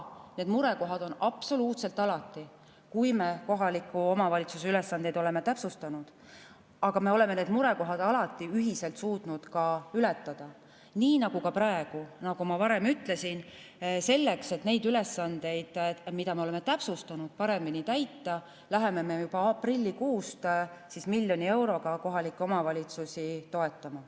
Neid murekohti on olnud absoluutselt alati, kui me kohaliku omavalitsuse ülesandeid oleme täpsustanud, aga me oleme need murekohad alati ühiselt suutnud ka ületada, nii nagu ka praegu, nagu ma varem ütlesin, selleks et neid ülesandeid, mida me oleme täpsustanud, paremini täita, läheme me juba aprillikuust miljoni euroga kohalikke omavalitsusi toetama.